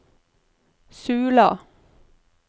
Sula